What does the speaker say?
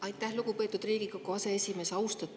Aitäh, lugupeetud Riigikogu aseesimees!